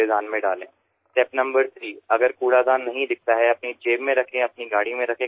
তৃতীয় ধাপ হল যদি আবর্জনা ফেলার পাত্র না দেখতে পান তাহলে সেই ময়লা নিজের পকেটে রাখুন বা নিজের গাড়ি করে বাড়ি নিয়ে যান